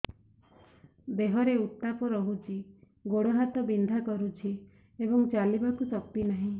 ଦେହରେ ଉତାପ ରହୁଛି ଗୋଡ଼ ହାତ ବିନ୍ଧା କରୁଛି ଏବଂ ଚାଲିବାକୁ ଶକ୍ତି ନାହିଁ